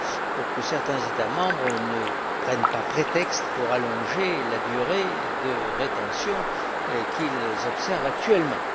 pour que certains États membres n'en prennent pas prétexte pour allonger la durée de rétention qu'ils observent actuellement.